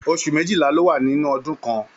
Oṣù méjìlá ní o wà ní ọdún kàn.